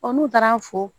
n'u taara fo